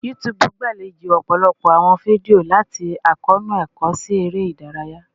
YouTube gbalejo ọpọlọpọ awọn fidio, lati akoonu ẹkọ si ere idaraya